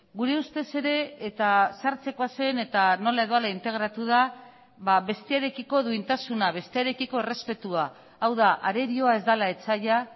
gure ustez ere eta sartzekoa zen eta nola edo hala integratu da bestearekiko duintasuna bestearekiko errespetua hau da arerioa ez dela etsaia